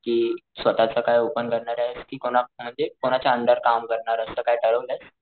कि स्वतःच काय ओपन करणारेस कि कोणा म्हणजे कोणाच्या अंडर काम करणारे असं काही ठरवलयेस?